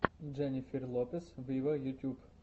дженнифер лопес вево ютуб